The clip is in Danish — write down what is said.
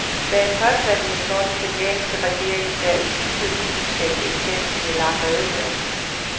Bag påstandene står den kenyanske regering, der i sidste uge udsendte en fem sider lang redegørelse.